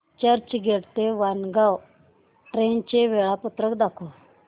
चर्चगेट ते वाणगांव ट्रेन चे वेळापत्रक दाखव